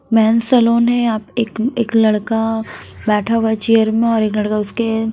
mains salon है आप एक एक लड़का बैठा हुआ है चेयर में और एक लड़का उसके--